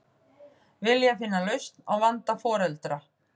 Vilja finna lausn á vanda foreldra